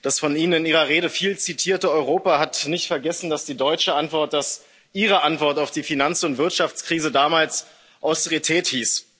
Das von Ihnen in Ihrer Rede viel zitierte Europa hat nicht vergessen, dass die deutsche Antwort, dass Ihre Antwort auf die Finanz und Wirtschaftskrise damals Austerität hieß.